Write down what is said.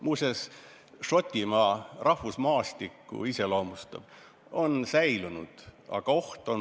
Muuseas, see iseloomustab Šotimaa rahvusmaastikku, see on säilinud.